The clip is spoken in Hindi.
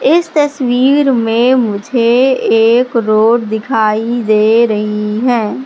इस तस्वीर में मुझे एक रोड दिखाई दे रही है।